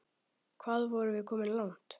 Hvað vorum við komin langt?